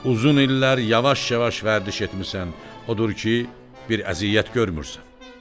Uzun illər yavaş-yavaş vərdiş etmisən, odur ki, bir əziyyət görmürsən.